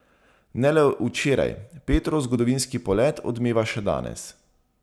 Ne le včeraj, Petrov zgodovinski polet odmeva še danes.